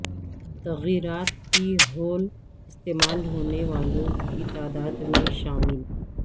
تغیرات فی ہول استعمال ہونے والوں کی تعداد میں شامل